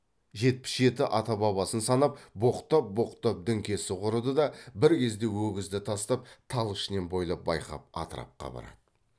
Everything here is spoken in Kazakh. жетпіс жеті ата бабасын санап боқтап боқтап діңкесі құрыды да бір кезде өгізді тастап тал ішінен бойлап байқап атырапқа барады